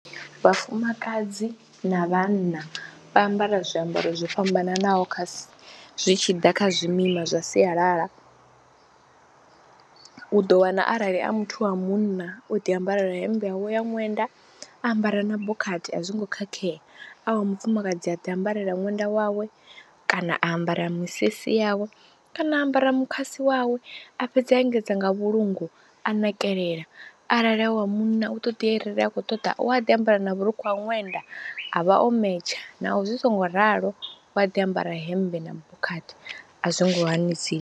Vhafumakadzi na vhanna vha ambara zwiambaro zwo fhambananaho kha zwi tshi ḓa kha zwimima zwa sialala, u ḓo wana arali a muthu wa munna o ḓiambara hemmbe yawe ya ṅwenda, a ambara na bokhathi a zwongo khakhea, a wa mufumakadzi a ḓiambarela ṅwenda wawe kana a ambara misisi yawe kana ambara mukhasi wawe, a fhedza a engedza nga vhulungu a na nakelela. Arali a wa munna u ṱoḓi arali a khou ṱoḓa u a ḓi ambara na vhurukhu ha ṅwenda, a vha o metsha naho zwi songo ralo u wa ḓi ambara hemmbe na bokhathi a zwi ngo hanisiwa.